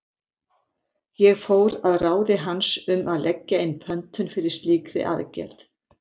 Ég fór að ráði hans um að leggja inn pöntun fyrir slíkri aðgerð.